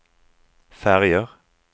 färger